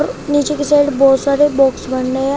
नीचे के साइड बहुत सारे बॉक्स बने हैं।